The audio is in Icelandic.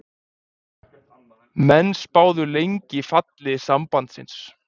Menn spáðu lengi falli Sambandsins